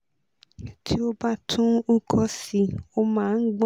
tí ó bá tún uko si ó máa ń gbọ̀n